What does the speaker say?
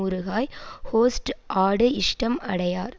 ஊறுகாய் ஹொஸ்ட் ஆடு இஷ்டம் அடையார்